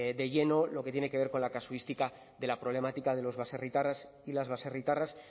de lleno lo que tiene que ver con la casuística de la problemática de los baserritarras y las baserritarras